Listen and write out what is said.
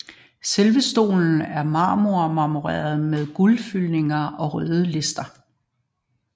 Selve stolen er marmoreret med forgyldte og røde lister